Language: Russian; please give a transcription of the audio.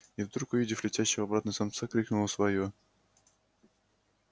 и вдруг увидев летящего обратно самца крикнула своё